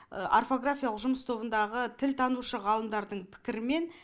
орфографиялық жұмыс тобындағы тіл танушы ғалымдардың пікірі мен